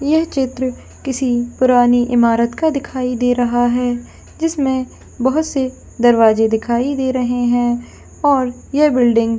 यह चित्र किसी पुरानी इमारत का दिखाई दे रहा है जिसमें बहुत से दरवाजे दिखाई दे रहे हैं और ये बिल्डिंग ।